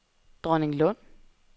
Dronninglund